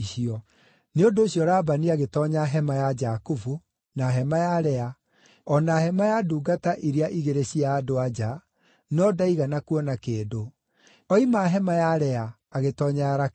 Nĩ ũndũ ũcio Labani agĩtoonya hema ya Jakubu, na hema ya Lea, o na hema ya ndungata iria igĩrĩ cia andũ-a-nja, no ndaigana kuona kĩndũ. Oima hema ya Lea, agĩtoonya ya Rakeli.